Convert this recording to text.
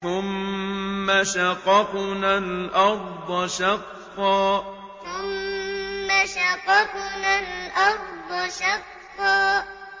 ثُمَّ شَقَقْنَا الْأَرْضَ شَقًّا ثُمَّ شَقَقْنَا الْأَرْضَ شَقًّا